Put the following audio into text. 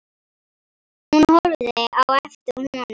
Hún horfði á eftir honum.